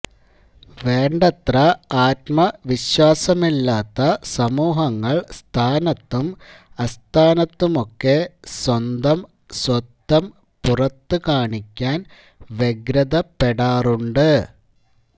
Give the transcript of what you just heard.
വേണ്ടത്ര ആത്മവിശ്വാസമില്ലാത്ത സമൂഹങ്ങള് സ്ഥാനത്തും അസ്ഥാനത്തുമൊക്കെ സ്വന്തം സ്വത്വം പുറത്തു കാണിക്കാന് വ്യഗ്രതപ്പെടാറുണ്ട്